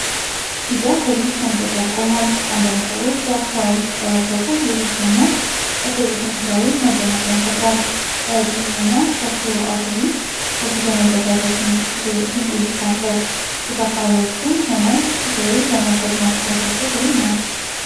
ቢጫ አውቶቡስ መንገድ ዳር ቆሟል። አንዳንድ ሰዎች በአካባቢው ሲጠባበቁ ሌሎች ደግሞ አውቶቡሱን ሲያዩ መደነቅን ይፈጥራል። ረጅምና ሰፊው አውቶቡስ ለጉዞ መዘጋጀቱን ድንቅ እይታ አለው!። ተሳፋሪዎቹም ሆነ ሾፌሩ ለመጓዝ መጓጓታቸው ግሩም ነው።